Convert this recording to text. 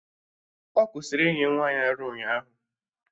Ọ kwụsịrị inye nwa ya ara ụnyaahụ